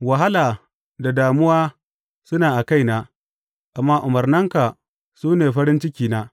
Wahala da damuwa suna a kaina, amma umarnanka su ne farin cikina.